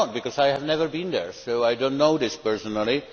I have never been there so I do not know this personally.